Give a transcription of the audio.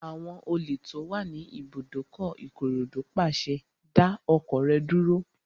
Àwọn olè tó wà ní ibùdókọ̀ Ìkòròdú pàṣẹ, "dá ọkọ̀ rẹ dúró!"